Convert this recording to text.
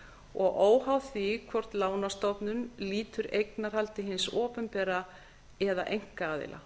og óháð því hvort lánastofnun lýtur eignarhaldi hins opinbera eða einkaaðila